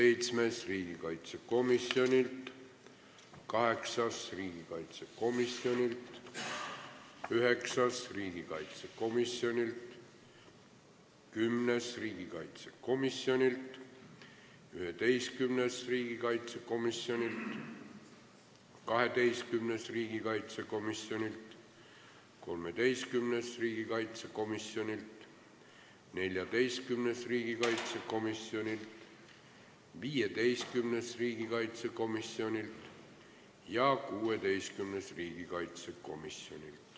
Kuues, seitsmes, kaheksas, üheksas, kümnes, 11., 12., 13., 14., 15. ja 16. ettepanek on riigikaitsekomisjonilt.